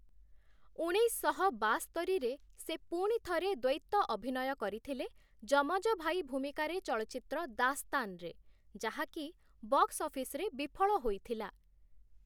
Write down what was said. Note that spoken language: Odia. ଉଣେଇଶଶହ ବାସ୍ତରିରେ, ସେ ପୁଣି ଥରେ ଦ୍ଵୈତ ଅଭିନୟ କରିଥିଲେ 'ଯମଜ ଭାଇ' ଭୂମିକାରେ ଚଳଚ୍ଚିତ୍ର 'ଦାସ୍ତାନ'ରେ, ଯାହାକି ବକ୍ସ ଅଫିସରେ ବିଫଳ ହୋଇଥିଲା ।